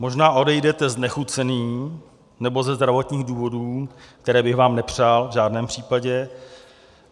Možná odejdete znechucený nebo ze zdravotních důvodů, které bych vám nepřál v žádném případě.